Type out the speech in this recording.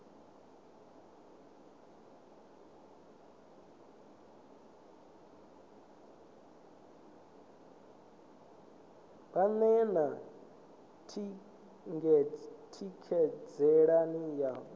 vha ḓe na ṱhanziela ya